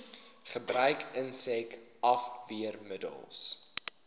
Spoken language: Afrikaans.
gebruik insek afweermiddels